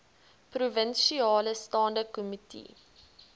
provinsiale staande komitee